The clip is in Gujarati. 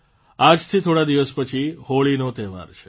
આજથી થોડા દિવસ પછી હોળીનો તહેવાર છે